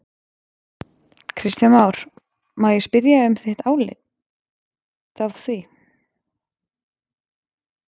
Kristján Már: Má ég spyrja um þitt álit á því?